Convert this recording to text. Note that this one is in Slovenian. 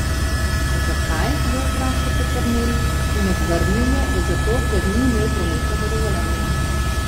Zakaj, ga je vprašal Peternelj, in odvrnil je, da zato, ker ni imel prometnega dovoljenja.